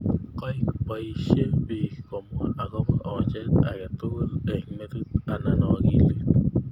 Kaek poishe pik komwaa akopo oochet agei tugul ing metit anan akilit.